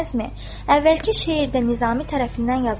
"Əvvəlki şeir də Nizami tərəfindən yazılmışdır.